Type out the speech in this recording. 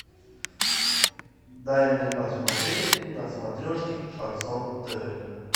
дай мне посмотреть на смотрешке шансон тв